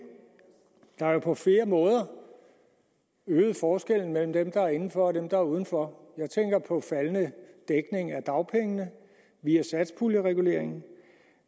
der er på flere måder øgede forskellen mellem dem der var inden for og dem der var uden for jeg tænker på en faldende dækning af dagpengene via satspuljereguleringen